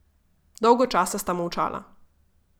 Dolgo časa sta molčala.